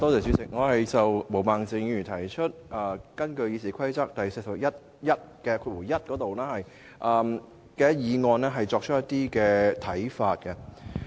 主席，我想就毛孟靜議員根據《議事規則》第401條動議的議案提出一些看法。